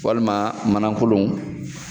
Walima manan kolonw